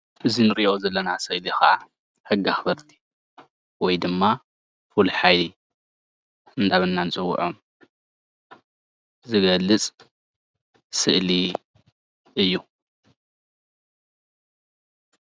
እዚ እንሪኦ ስእሊ ዘለና ከዓ ሕጊ ኣክበርቲ ወይ ድማ ፍሉይ ሓይሊ እንዳበልና ንፅወዖም ዝገልፅ ስእሊ እዩ፡፡